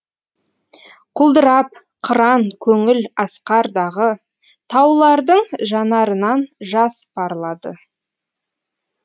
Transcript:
құлдырап қыран көңіл асқардағы таулардың жанарынан жас парлады